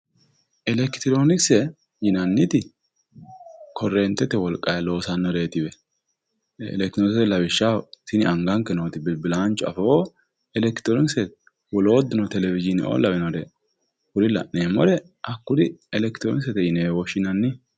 Elekitironkise yinnanniti korentete wolqanni loossanoreti, elekitironkise anganke nootti bilbilancho afootto elekitironkisete wolootuno televishine kuri la'neemmore baalla elekitironkisete yineemmo.